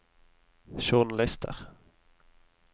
journalister